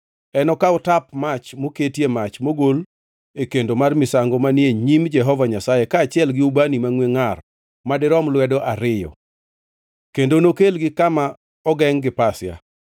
Enokaw tap mach moketie mach mogol e kendo mar misango manie nyim Jehova Nyasaye kaachiel gi ubani mangʼwe ngʼar madirom lwedo ariyo, kendo nokelgi kama ogengʼ gi pasia.